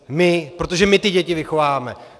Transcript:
My, protože my ty děti vychováváme!